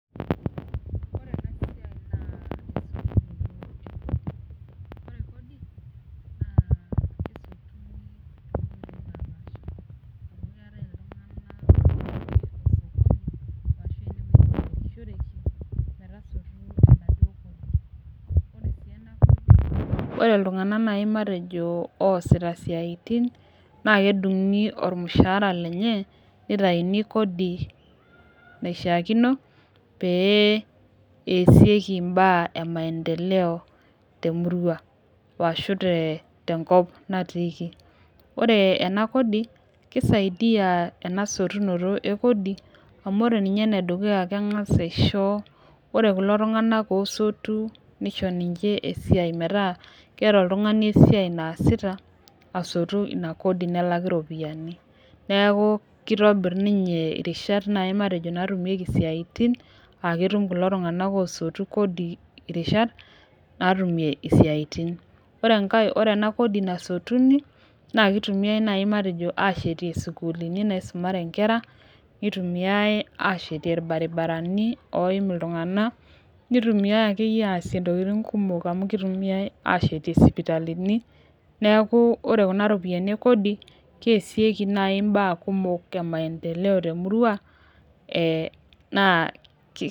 Ore iltunganak naaji ooosita isiatin naa kedungi iropiani tormushaara lenye aa taa kodi peetumokini aatasie inkulie saitin ,kisaidia enasotunoto e kodi ore iltungana oosotu naa ketum irishat oo siati, kitumie sii aasie isiatin naajo aashet sukuu, isipitalini tenebo irbaribarani